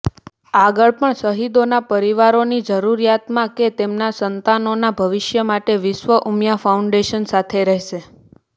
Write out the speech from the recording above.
આગળ પણ શહીદોના પરિવારોની જરૂરિયાતમાં કે તેમના સંતાનોના ભવિષ્ય માટે વિશ્વ ઉમિયા ફાઉન્ડેશન સાથે રહેશે